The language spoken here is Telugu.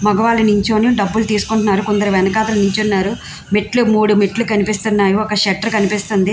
మగవాళ్ళు నించుని డబ్బులు తీసుకుంటున్నారు. కొందరు వెనకాతల నించున్నారు. మెట్లు మూడు మెట్లు కనిపిస్తున్నాయి. ఒక షట్టర్ కనిపిస్తుంది.